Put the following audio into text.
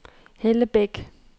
Hellebæk